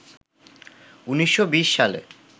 ১৯২০ সালে